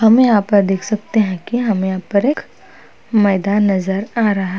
हम यहां पर देख सकते हैं कि हमें यहां पर एक मैदान नजर आ रहा है।